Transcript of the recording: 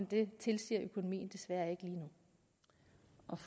det tilsiger økonomien desværre ikke lige